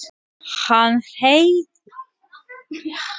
Hann heyrði í rennandi vatni og gekk á hljóðið.